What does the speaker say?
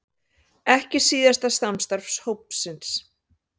Ekki síðasta samstarf hópsins